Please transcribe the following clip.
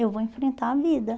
Eu vou enfrentar a vida.